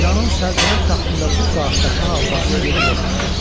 İranın səltənət taxtında bu saatda Şah Abbasın yeri boşdur.